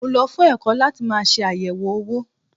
Mo lọ fún ẹ̀kọ́ láti máa ṣe àyẹ̀wò owó.